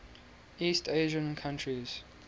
east asian countries